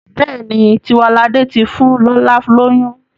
Béèni Tiwalade tí fún lọla lóyún..